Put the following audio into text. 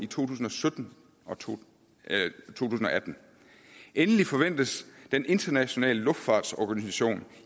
tusind og sytten og to tusind og atten endelig forventes den internationale luftfartsorganisation